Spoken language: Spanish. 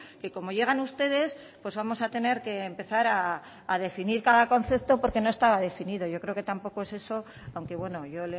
que como llegan ustedes pues vamos a tener que empezar a definir cada concepto porque no estaba definido yo creo que tampoco es eso aunque bueno yo